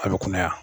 A bɛ kunnaya